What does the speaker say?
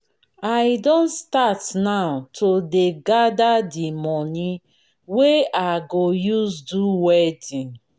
i don start now to dey gada di moni wey i go use do wedding